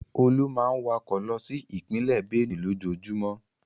Olú máa ń wakọ̀ lọ sí ìpínlẹ̀ Bénùè. lójoojúmọ́.